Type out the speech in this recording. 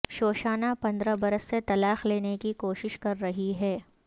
شوشانہ پندرہ برس سے طلاق لینے کی کوشش کر رہی ہے